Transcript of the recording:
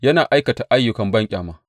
Yana aikata ayyukan banƙyama.